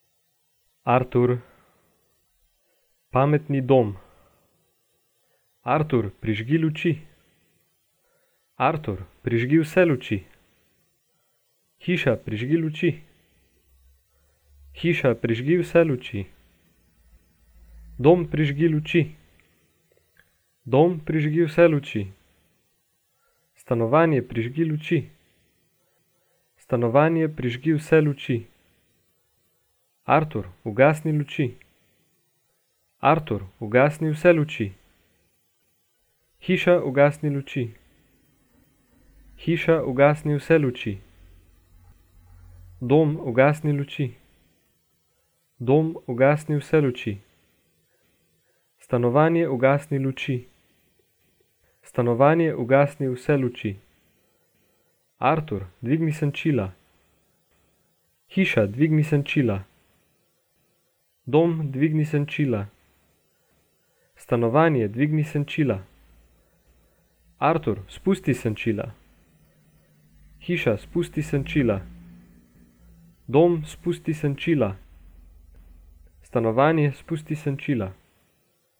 Artur. Pametni dom. Artur, prižgi luči. Artur, prižgi vse luči. Hiša, prižgi luči. Hiša, prižgi vse luči. Dom, prižgi luči. Dom, prižgi vse luči. Stanovanje, prižgi luči. Stanovanje, prižgi vse luči. Artur, ugasni luči. Artur, ugasni vse luči. Hiša, ugasni luči. Hiša, ugasni vse luči. Dom, ugasni luči. Dom, ugasni vse luči. Stanovanje, ugasni luči. Stanovanje, ugasni vse luči. Artur, dvigni senčila. Hiša, dvigni senčila. Dom, dvigni senčila. Stanovanje, dvigni senčila. Artur, spusti senčila. Hiša, spusti senčila. Dom, spusti senčila. Stanovanje, spusti senčila.